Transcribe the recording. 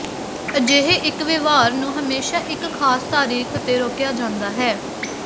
ਅਜਿਹੇ ਇੱਕ ਵਿਵਹਾਰ ਨੂੰ ਹਮੇਸ਼ਾ ਇੱਕ ਖਾਸ ਤਾਰੀਖ਼ ਤੇ ਰੋਕਿਆ ਜਾਂਦਾ ਹੈ